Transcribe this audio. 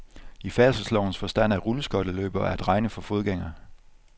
I færdselslovens forstand er rulleskøjteløbere at regne for fodgængere.